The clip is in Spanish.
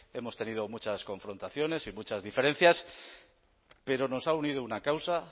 hemos tenido muchas confrontaciones y muchas diferencias pero nos ha unido una causa